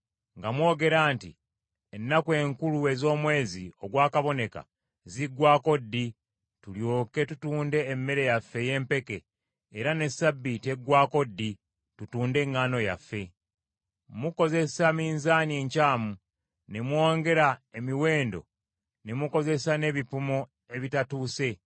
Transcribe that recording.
nga mwogera nti, “Ennaku enkulu ez’Omwezi ogwa kaboneka ziggwaako ddi, tulyoke tutunde emmere yaffe ey’empeke, era ne Ssabbiiti eggwaako ddi, tutunde eŋŋaano yaffe?” Mukozesa minzaani enkyamu ne mwongera emiwendo ne mukozesa n’ebipimo ebitatuuse,